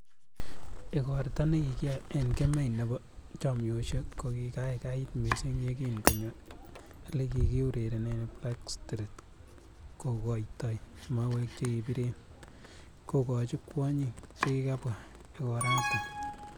Igorto nekikiyoe en kemei nebo chomyosiek, ko kigaigait missing yekin konyo ele kiureren Black street kokoitoi mauwek chebiriren kogochi kwonyik chekikabwa igoraton.